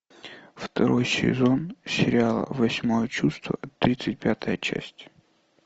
второй сезон сериала восьмое чувство тридцать пятая часть